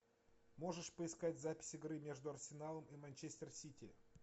можешь поискать запись игры между арсеналом и манчестер сити